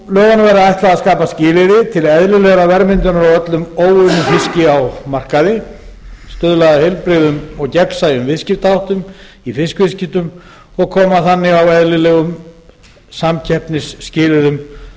lögunum verði ætlað að skapa skilyrði til eðlilegrar verðmyndunar á öllum óunnum fiski á markaði og stuðla að heilbrigðum og gegnsæjum viðskiptaháttum í fiskviðskiptum og koma þannig á eðlilegum samkeppnisskilyrðum